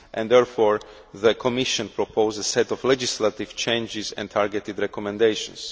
Therefore, the Commission proposed a set of legislative changes and targeted recommendations.